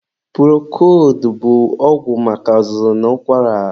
Purokoldu bụ ọgwụ maka azụzụ na ụkwara.